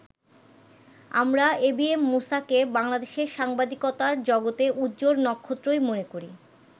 আমরা এবিএম মূসাকে বাংলাদেশের সাংবাদিকতার জগতে উজ্জ্বল নক্ষত্রই মনে করি”।